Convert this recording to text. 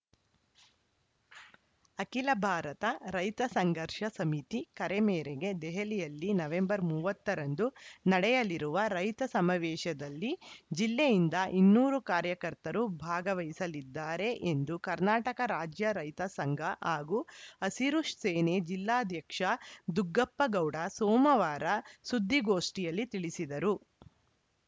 ಅಖಿಲ ಭಾರತ ರೈತ ಸಂಘರ್ಷ ಸಮಿತಿ ಕರೆ ಮೇರೆಗೆ ದೆಹಲಿಯಲ್ಲಿ ನವೆಂಬರ್ ಮೂವತ್ತ ರಂದು ನಡೆಯಲಿರುವ ರೈತ ಸಮಾವೇಶದಲ್ಲಿ ಜಿಲ್ಲೆಯಿಂದ ಇನ್ನೂರು ಕಾರ್ಯಕರ್ತರು ಭಾಗವಹಿಸಲಿದ್ದಾರೆ ಎಂದು ಕರ್ನಾಟಕ ರಾಜ್ಯ ರೈತ ಸಂಘ ಹಾಗೂ ಹಸಿರು ಸೇನೆ ಜಿಲ್ಲಾಧ್ಯಕ್ಷ ದುಗ್ಗಪ್ಪಗೌಡ ಸೋಮವಾರ ಸುದ್ದಿಗೋಷ್ಠಿಯಲ್ಲಿ ತಿಳಿಸಿದರು